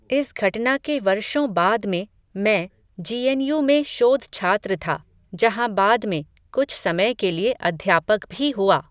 इस घटना के वर्षों बाद में, मैं, जी एन यू में शोधछात्र था, जहां बाद में, कुछ समय के लिए अध्यापक भी हुआ